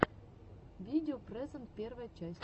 видео презент первая часть